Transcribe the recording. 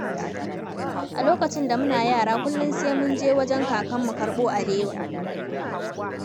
A lokacin da muna yara kullum sai mun je wajen kakanmu karɓo alewa.